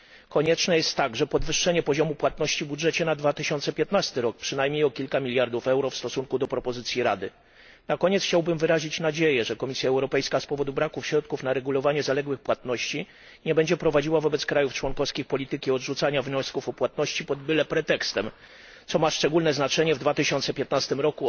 Konieczne jest także podwyższenie poziomu płatności w budżecie na rok 2015, przynajmniej o kilka miliardów euro w stosunku do propozycji Rady. Na koniec chciałbym wyrazić nadzieję, że Komisja Europejska z powodu braku środków na regulowanie zaległych płatności nie będzie prowadziła wobec państw członkowskich polityki odrzucania wniosków o płatności pod byle pretekstem, co ma szczególne znaczenie w 2015 r.